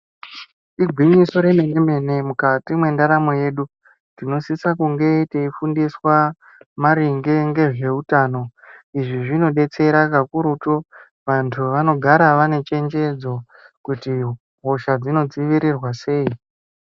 Igwinyiso remenemene mukati mwendaramo yedu tinosisa kunge teifundiswa maringe ngezveutano. Izvi zvinodetsera kakurutu, vantu vanogara vane chenjedzo kuti hosha dzinodzivirirwa sei.